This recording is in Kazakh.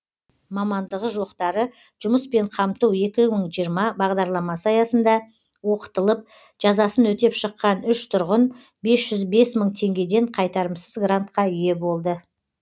мамандығы жоқтары жұмыспен қамту екі мың жиырма бағдарламасы аясында оқытылып жазасын өтеп шыққан үш тұрғын бес жүз бес мың теңгеден қайтарымсыз грантқа ие болды